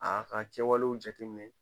A ka kɛwalew jateminɛ